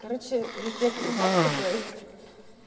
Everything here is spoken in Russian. короче везде крутяк такой